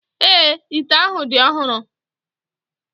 Èé, ite ahụ dị ọhụrụ.